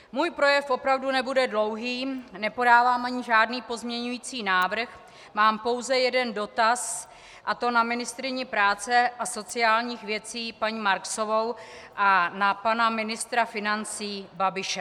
Můj projev opravdu nebude dlouhý, nepodávám ani žádný pozměňovací návrh, mám pouze jeden dotaz, a to na ministryni práce a sociálních věcí paní Marksovou a na pana ministra financí Babiše.